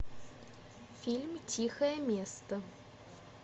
фильм тихое место